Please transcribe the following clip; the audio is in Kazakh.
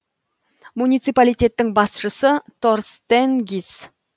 муниципалитеттің басшысы торстен гис